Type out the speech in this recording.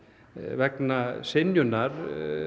vegna synjunar